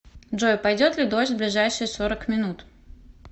джой пойдет ли дождь в ближайшие сорок минут